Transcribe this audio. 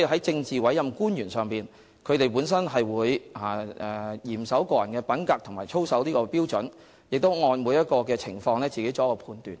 政治委任官員本身會嚴守個人品格和操守的標準，並會按個別情況自行作出判斷。